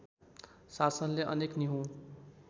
शासनले अनेक निहुँ